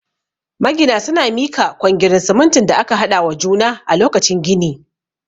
Magina suna mika kwangirin siminti da aka haɗa wa juna a lokacin gini